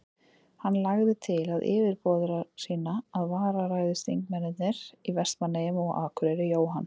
Hann lagði til við yfirboðara sína, að vararæðismennirnir í Vestmannaeyjum og á Akureyri, Jóhann